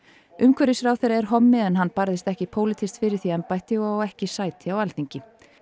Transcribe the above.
umhverfisráðherra er hommi en hann barðist ekki pólitískt fyrir því embætti og á ekki sæti á Alþingi